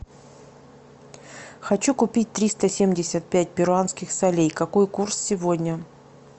хочу купить триста семьдесят пять перуанских солей какой курс сегодня